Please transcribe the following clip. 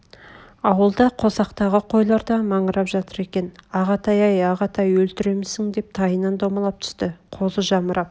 ауылда қосақтағы қойлар да маңырап жатыр екен ағатай-ай ағатай өлтіремісің деп тайынан домалап түсті қозы жамырап